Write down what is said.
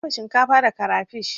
Na dafa shinkafa da karafish.